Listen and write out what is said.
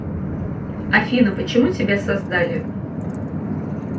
афина почему тебя создали